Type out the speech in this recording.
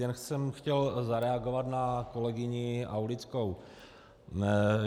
Jen jsem chtěl zareagovat na kolegyni Aulickou.